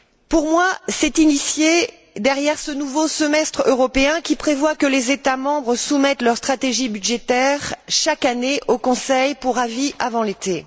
Pour moi, c'est initié derrière ce nouveau semestre européen qui prévoit que les États membres soumettent leurs stratégies budgétaires chaque année au Conseil pour avis avant l'été.